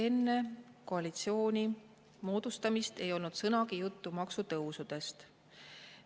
Enne koalitsiooni moodustamist ei olnud sõnagi juttu maksutõusudest.